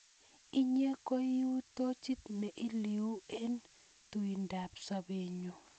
Inye koi u tochit ne iluu eng' tuindap sobennyu.